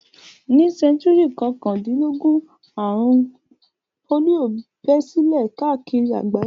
Ní sẹ́ńtúrì kọkàndínlógún, àrùn pólíò bẹ́ sílẹ̀ káàkiri àgbáyé.